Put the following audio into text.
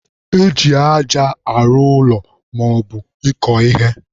Eji aja arụ ụlọ maọbụ ịkọ ihe.